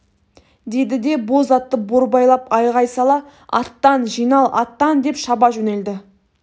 деді де боз атты борбайлап айғай сала аттан жинал аттан деп шаба жөнелді